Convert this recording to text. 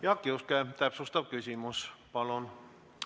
Jaak Juske, täpsustav küsimus, palun!